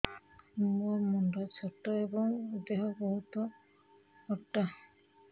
ମୋ ମୁଣ୍ଡ ଛୋଟ ଏଵଂ ଦେହ ବହୁତ ମୋଟା